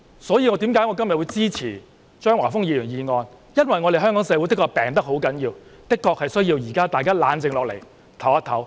所以，我今天支持張華峰議員的議案，因為香港社會的確病入膏肓，大家現在的確需要冷靜下來，休息一下。